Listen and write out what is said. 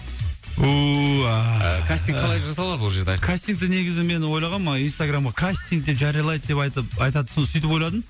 кастинг қалай жасалады ол жерде айқын кастингті негізімен ойлағам инстаграмда кастинг деп жариялайды деп айтып айтады сөйтіп ойладым